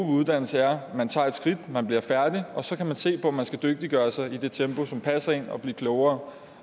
uddannelse er at man tager et skridt man bliver færdig og så kan man se på om man skal dygtiggøre sig i det tempo som passer en og blive klogere